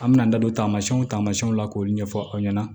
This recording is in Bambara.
An mɛna an da don taamasiyɛnw taamasiyɛnw la k'o ɲɛfɔ aw ɲɛna